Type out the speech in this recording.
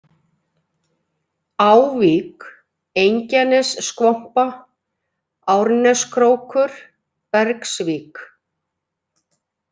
Ávík, Engjanesskvompa, Árneskrókur, Bergsvík